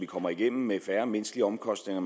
kommer igennem med færre menneskelige omkostninger